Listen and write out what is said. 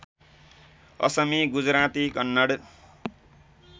Asami Gujarati Kannada